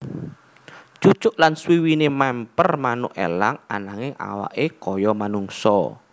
Cucuk lan suwiwiné mèmper manuk elang ananging awaké kaya manungsa